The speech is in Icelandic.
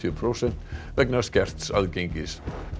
prósent vegna skerts aðgengis